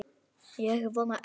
Ég vona ekki